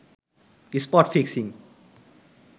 spot fixing